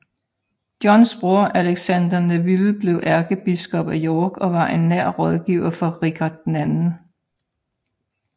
Johns bror Alexander Neville blev ærkebiskop af York og var en nær rådgiver for Richard 2